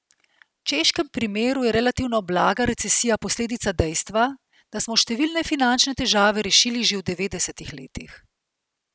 V češkem primeru je relativno blaga recesija posledica dejstva, da smo številne finančne težave rešili že v devetdesetih letih.